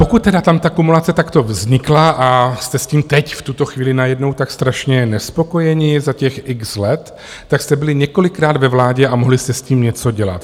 Pokud tedy tam ta kumulace takto vznikla a jste s tím teď v tuto chvíli najednou tak strašně nespokojeni za těch x let, tak jste byli několikrát ve vládě a mohli jste s tím něco dělat.